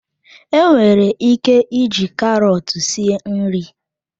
Enwere ike iji karọt sie nri.